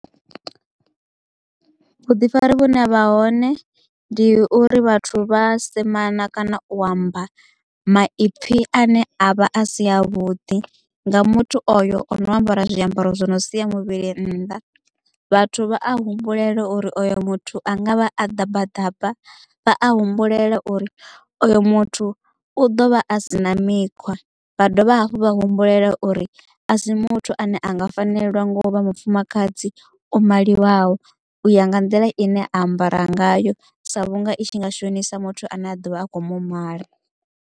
Vhuḓifari vhune havha hone ndi uri vhathu vha semana kana u amba maipfi ane avha a si a vhuḓi nga muthu oyo ono ambara zwiambaro zwi no sia muvhili nnḓa vhathu vha a humbulela uri oyo muthu angavha a ḓabaḓaba vha a humbulela uri oyo muthu u ḓo vha a si na mikhwa vha dovha hafhu vha humbulela uri asi muthu ane anga fanelwa ngo vha mufumakadzi o maliwaho u ya nga nḓila ine ambara ngayo sa vhunga i tshi nga shonisa muthu ane a ḓovha a kho mu mala.